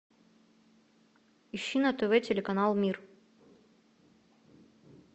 ищи на тв телеканал мир